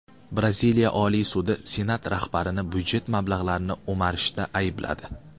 Braziliya Oliy sudi Senat rahbarini budjet mablag‘larini o‘marishda aybladi.